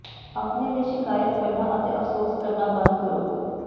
ਆਪਣੇ ਲਈ ਸ਼ਿਕਾਇਤ ਕਰਨਾ ਅਤੇ ਅਫ਼ਸੋਸ ਕਰਨਾ ਬੰਦ ਕਰੋ